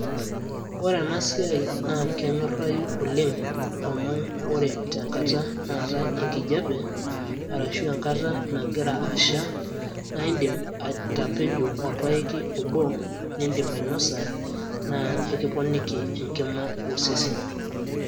ore ena siai na kenyorayu oleng amu ore tenkata natae enkijape ,arashu enkata nangira asha na indim atapejo olpaeki obo nindim ainosa na ekiponiki enkima osesen.